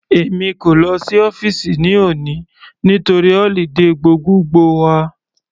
Èmi kò lọ sí ọ́fìsì ní òní nítorí holiday gbogbogbo wà.